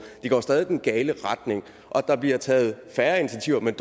det går stadig i den gale retning og at der bliver taget færre initiativer men